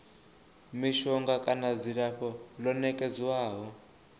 mishonga kana dzilafho ḽo nekedzwaho